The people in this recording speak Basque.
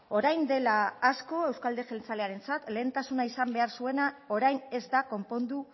orain dela asko euzko alderdi jeltzalearentzat lehentasuna izan behar zuena orain ez da konpondu